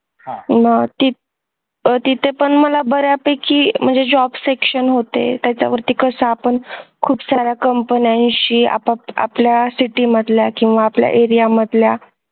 मग आह तिथ पण मला बऱ्यापैकी म्हणजे job section होते त्याच्यावरती कसा आपण खूपसाऱ्या company शी आपल्या city मधल्या किंवा आपल्या area मधल्या